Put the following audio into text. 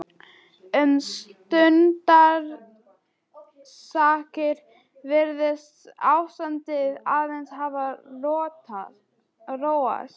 Um stundarsakir virtist ástandið aðeins hafa róast.